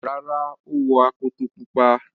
Rárá, ó wọ akoto pupa.